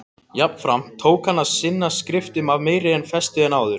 Jafnframt tók hann að sinna skriftum af meiri festu en áður.